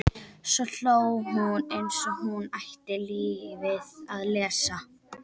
Svo hló hún eins og hún ætti lífið að leysa.